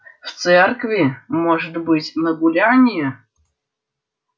в церкви может быть на гулянье